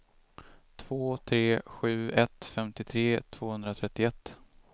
två tre sju ett femtiotre tvåhundratrettioett